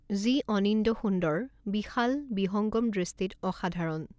যি অনিন্দ্যসুন্দৰ, বিশাল, বিহঙ্গম দৃষ্টিত অসাধাৰণ।